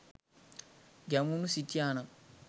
ගැමුණු සිටියා නම්